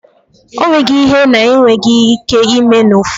O nweghi ihe na-enweghi ike ime n’ifo